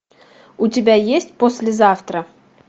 у тебя есть послезавтра